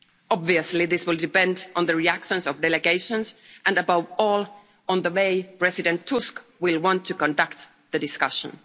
Obviously, this will depend on the reactions of delegations and above all, on the way President Tusk will want to conduct the discussion.